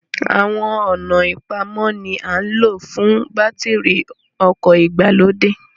Àwọn ọ̀nà ìpamọ́ ni à ń lò fún bátìrì ọkọ̀ ìgbàlódé